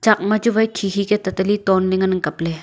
chak machu wai khikhi ka tata le tonley ngan ang kapley.